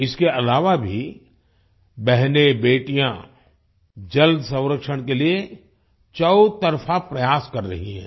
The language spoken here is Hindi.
इसके अलावा भी बहनेंबेटियाँ जल संरक्षण के लिए चौतरफा प्रयास कर रही हैं